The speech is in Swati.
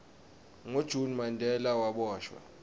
ngo june mandela waboshwa